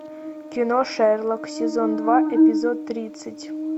кино шерлок сезон два эпизод тридцать